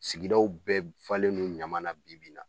Sigidaw bɛɛ falendo ɲama na bibi in na